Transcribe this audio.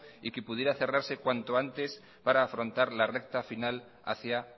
y que pudiera cerrarse cuanto antes para afrontar la recta final hacia